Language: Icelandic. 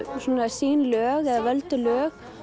sín lög eða völdu lög